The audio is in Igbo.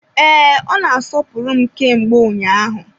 Ee, ọ na-asọpụrụ m kemgbe ụnyaahụ.